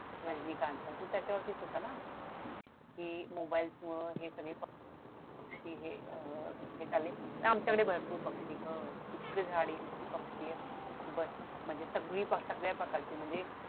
रजनीकांतचा तो त्याच्यावरतीच होता ना कि मोबाईल्स मूळ हे सगळे पक्षी हे अह हे झाले आमच्याकडे भरपूर पक्षी आणि झाडी म्हणजे सगळ्या प्रकारची झाडी इतकी झाडी इतके पक्षी आहेत बस म्हणजे सगळी म्हणजे सगळ्या प्रकारची